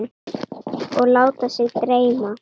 Og láta sig dreyma.